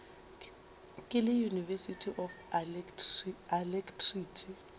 ke le university of alacrity